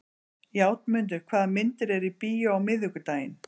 Játmundur, hvaða myndir eru í bíó á miðvikudaginn?